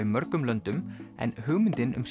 mörgum löndum en hugmyndin um